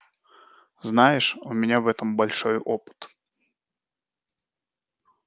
знаешь у меня в этом большой опыт